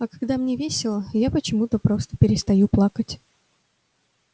а когда мне весело я почему-то просто перестаю плакать